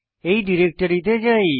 এই ডিরেক্টরিতে যাই